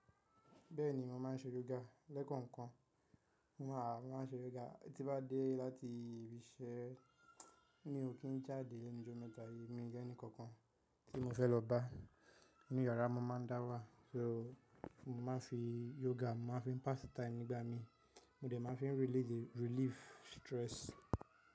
Bẹ́ẹ̀ni, mo máa ń ṣe yoga lẹ́kọ̀ọ̀kan. Mo àá, mo máa ń ṣe yoga, tí bá dé láti ibi iṣẹ́ mi ò kí n jáde lẹ̀nu ijọmẹ̀ta yìí, mo ní ẹni kankan tí mo fẹ́ lọ bá nínú yàrá, mo máa ń dáwà, so mo máa ń fi yoga, mo máa ń fi pass time nígbà mi, mo dẹ̀ máa ń fi relief stress.